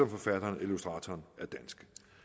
forfatteren eller illustratoren